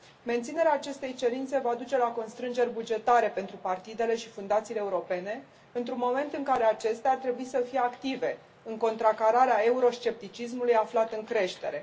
Menținerea acestei cerințe va duce la constrângeri bugetare pentru partidele și fundațiile europene într un moment în care acestea ar trebui să fie active în contracararea euroscepticismului aflat în creștere.